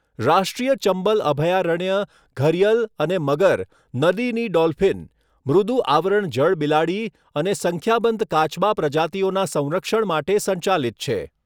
રાષ્ટ્રીય ચંબલ અભયારણ્ય ઘરીયલ અને મગર, નદીની ડોલ્ફિન, મૃદુ આવરણ જળબિલાડી અને સંખ્યાબંધ કાચબા પ્રજાતિઓના સંરક્ષણ માટે સંચાલિત છે.